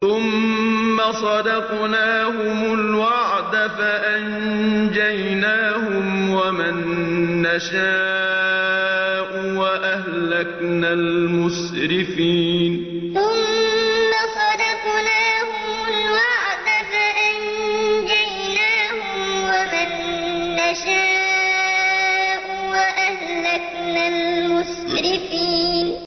ثُمَّ صَدَقْنَاهُمُ الْوَعْدَ فَأَنجَيْنَاهُمْ وَمَن نَّشَاءُ وَأَهْلَكْنَا الْمُسْرِفِينَ ثُمَّ صَدَقْنَاهُمُ الْوَعْدَ فَأَنجَيْنَاهُمْ وَمَن نَّشَاءُ وَأَهْلَكْنَا الْمُسْرِفِينَ